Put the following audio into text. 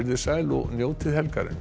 sæl og njótið helgarinnar